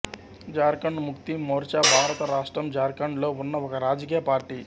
జార్ఖండ్ ముక్తి మోర్చా భారత రాష్ట్రం జార్ఖండ్ లో ఉన్న ఒక రాజకీయ పార్టీ